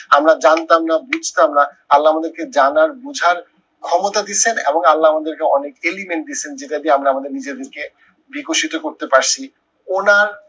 আমরা জানতাম না বুঝতাম না আল্লা আমাদেরকে জানার বুঝার ক্ষমতা দিচ্ছেন এবং আল্লা আমাদেরকে অনেক element দিছেন যেটা দিয়ে আমরা আমাদের নিজেদেরকে বিকশিত করতে পারছি। ওনার